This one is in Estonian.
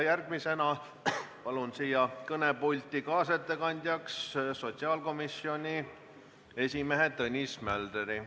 Järgmisena palun kõnepulti kaasettekande tegemiseks sotsiaalkomisjoni esimehe Tõnis Möldri.